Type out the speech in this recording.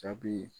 Jaabi